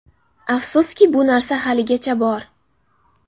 Afsuski, bu narsa haligacha bor.